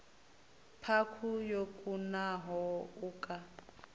khaphu yo kunaho u ka